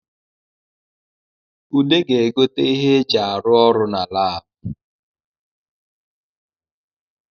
Ude ga-egote ihe e ji arụ ọrụ na Lab